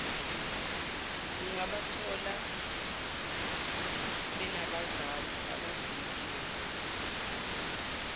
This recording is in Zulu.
ungabathola benabazali abazinikele